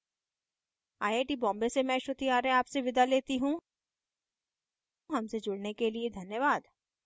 I I T Bombay से मैं श्रुति आर्य आपसे विदा लेती हूँ हमसे जुड़ने के लिए धन्यवाद